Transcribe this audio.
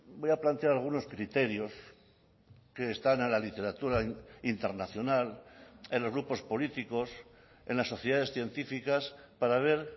voy a plantear algunos criterios que están a la literatura internacional en los grupos políticos en las sociedades científicas para ver